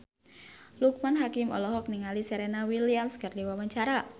Loekman Hakim olohok ningali Serena Williams keur diwawancara